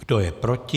Kdo je proti?